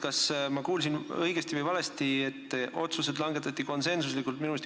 Kas ma kuulsin õigesti või valesti, et otsused langetati konsensuslikult?